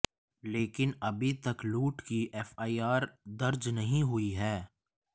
लेकिन अभी तक लूट की एफआईआर दर्ज नहीं हुई है